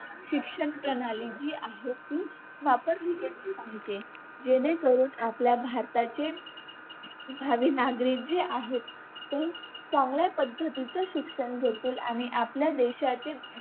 शिक्षणप्रणाली जी आहे ती वापरली गेली पाहिजे जेणेकरून आपल्या भारताचे भावी जे नागरिक आहेत ते चांगल्या पद्धतीचं शिक्षणदेखील आणि आपल्या